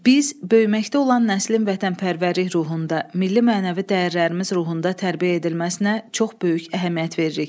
Biz böyüməkdə olan nəslin vətənpərvərlik ruhunda, milli mənəvi dəyərlərimiz ruhunda tərbiyə edilməsinə çox böyük əhəmiyyət veririk.